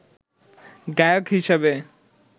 গায়ক হিসেবে